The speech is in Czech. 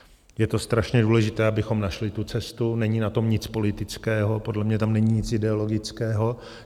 Je to strašně důležité, abychom našli tu cestu, není na tom nic politického, podle mě tam není nic ideologického.